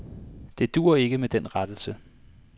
Det duer ikke med den rettelse.